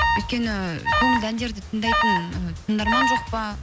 өйткені көңілді әндерді тыңдайтын ы тыңдарман жоқ па